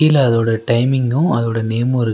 கீழ அதோட டைமிங்கு அதோட நேமு இரு--